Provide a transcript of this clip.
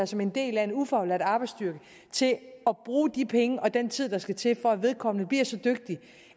som en del af en ufaglært arbejdsstyrke til at bruge de penge og den tid der skal til for at vedkommende bliver så dygtig